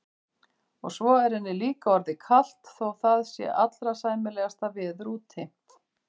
Og svo er henni líka orðið kalt þótt það sé allra sæmilegasta veður úti.